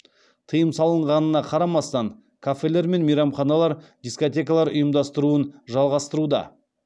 тыйым салынғанына қарамастан кафелер мен мейрамханалар дискотекалар ұйымдастыруын жалғастыруда